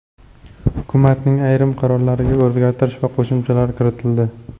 Hukumatning ayrim qarorlariga o‘zgartirish va qo‘shimchalar kiritildi .